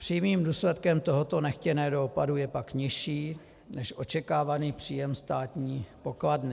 Přímým důsledkem tohoto nechtěného dopadu je pak nižší než očekávaný příjem státní pokladny.